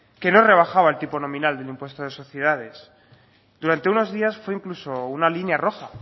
que no rebajaba el tipo nominal del impuesto de sociedades durante unos días fue incluso una línea roja